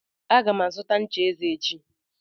Aga m azụta ncha eze echi